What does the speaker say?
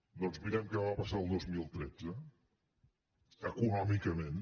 doncs mirem què va passar al dos mil tretze econòmicament